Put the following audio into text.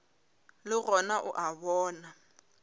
le gona o a bona